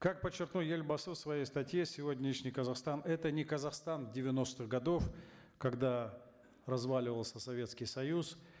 как подчеркнул елбасы в своей статье сегодняшний казахстан это не казахстан девяностых годов когда разваливался советский союз